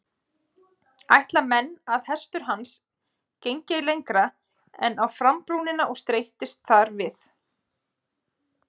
Ætla menn að hestur hans gengi ei lengra en á frambrúnina og streittist þar við.